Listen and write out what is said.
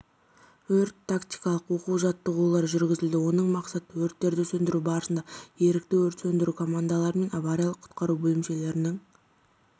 өрт-тактикалық оқу-жаттығулар жүргізілді оның мақсаты өрттерді сөндіру барысында ерікті өрт сөндіру командалары мен авариялық-құтқару бөлімшелерінің